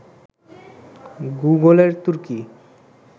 গুগলের তুর্কী